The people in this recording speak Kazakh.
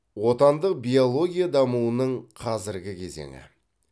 отандық биология дамуының қазіргі кезеңі